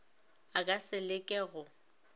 a ka se leke go